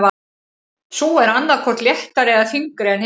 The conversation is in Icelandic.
Sú er annað hvort léttari eða þyngri en hinar.